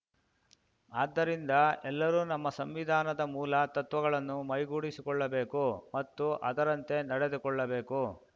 ಆದ್ದರಿಂದ ಎಲ್ಲರೂ ನಮ್ಮ ಸಂವಿಧಾನದ ಮೂಲ ತತ್ವಗಳನ್ನು ಮೈಗೂಡಿಸಿಕೊಳ್ಳಬೇಕು ಮತ್ತು ಅದರಂತೆ ನಡೆದುಕೊಳ್ಳಬೇಕು